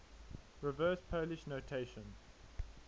reverse polish notation